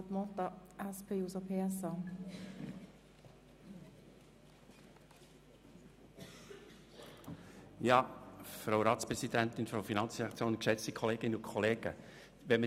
Wenn ich die zwei Eventualanträge analysiere, komme ich zu folgendem Schluss: